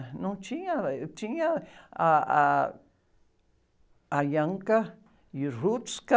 Não tinha, eh, tinha ah, ah, a,